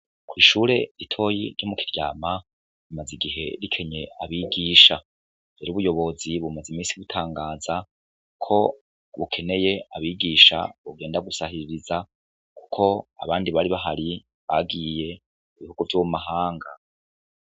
Ishure ritoyi ryo mu Kiryama rimaze igihe rikenye abigisha. Rero ubuyobozi bumaze imisi butangaza ko bukeneye abigisha bogenda gusahiriza kuko abandi bari bahari bagiye mu bigo vyo mu mahanga.